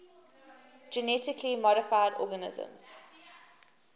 genetically modified organisms